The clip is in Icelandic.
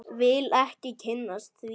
Vil ekki kynnast því.